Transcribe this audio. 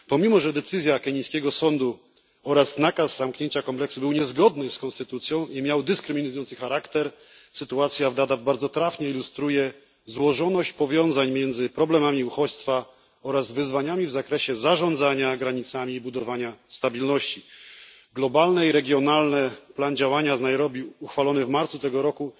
Mimo że decyzja kenijskiego sądu oraz nakaz zamknięcia kompleksu był niezgodny z konstytucją i miał dyskryminujący charakter, sytuacja w Dadaab bardzo trafnie ilustruje złożoność powiązań między problemami uchodźstwa oraz wyzwaniami w zakresie zarządzania granicami budowania stabilności. Sądzę, że globalny i regionalny plan działania z Nairobi uchwalony w marcu tego roku